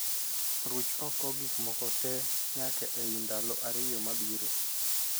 Ruch oko gik moko tee nyaka ei ndalo ariyo mabiro